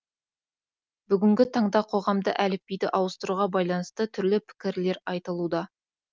бүгінгі таңда қоғамда әліпбиді ауыстыруға байланысты түрлі пікірлер айтылуда